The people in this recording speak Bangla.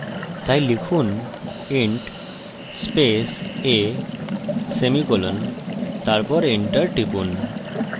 তাই লিখুন int স্পেস a semicolon তারপর enter টিপুন